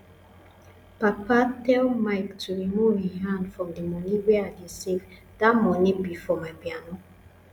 papa tell mike to remove im hand from the money wey i dey save dat money be for my piano